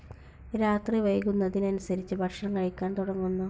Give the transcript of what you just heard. രാത്രി വൈകുന്നതിന് അനുസരിച്ചു ഭക്ഷണം കഴിക്കാൻ തുടങ്ങുന്നു.